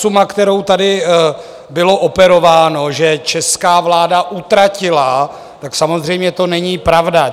Suma, kterou tady bylo operováno, že česká vláda utratila, tak samozřejmě to není pravda.